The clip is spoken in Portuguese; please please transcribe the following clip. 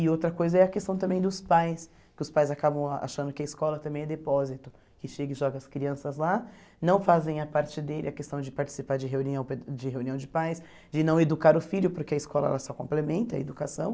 E outra coisa é a questão também dos pais, que os pais acabam achando que a escola também é depósito, que chega e joga as crianças lá, não fazem a parte dele, a questão de participar de reunião pe de reunião de pais, de não educar o filho porque a escola ela só complementa a educação.